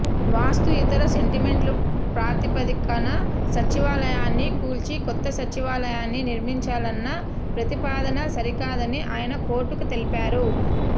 వాస్తు ఇతర సెంటిమెంట్ల ప్రాతిపదికన సచివాలయాన్ని కూల్చి కొత్త సచివాలయాన్ని నిర్మించాలన్న ప్రతిపాదన సరికాదని ఆయన కోర్టుకు తెలిపారు